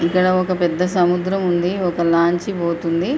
ఇక్కడ ఒక పెద్ద సముద్రం ఉంది ఒక లాంచీ పోతుంది.